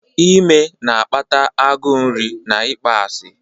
Ime na-akpata agụụ nri na ịkpọasị.